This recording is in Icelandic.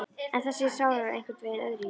En þessi er sárari, einhvern veginn öðruvísi.